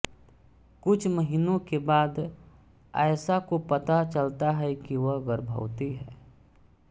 कुछ महीनों के बाद आयशा को पता चलता है कि वह गर्भवती है